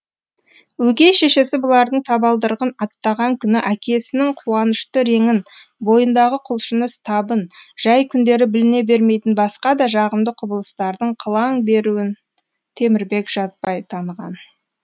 өгей шешесі бұлардың табалдырығын аттаған күні әкесінің қуанышты реңін бойындағы құлшыныс табын жай күндері біліне бермейтін басқа да жағымды құбылыстардың қылаң беруін темірбек жазбай таныған